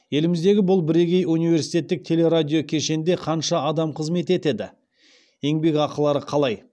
еліміздегі бұл бірегей университеттік телерадиокешенде қанша адам қызмет етеді еңбекақылары қалай